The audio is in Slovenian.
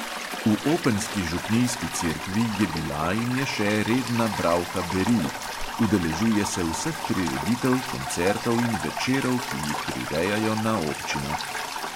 V openski župnijski cerkvi je bila in je še redna bralka beril, udeležuje se vseh prireditev, koncertov in večerov, ki jih prirejajo na opčinah.